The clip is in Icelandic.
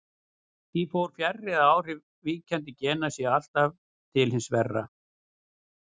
Því fer þó fjarri að áhrif víkjandi gena séu alltaf til hins verra.